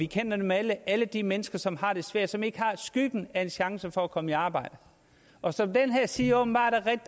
kender dem alle alle de mennesker som har det svært som ikke har skyggen af chance for at komme i arbejde og som den her side åbenbart er